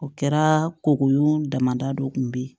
O kɛra koko damada dɔ kun bɛ ye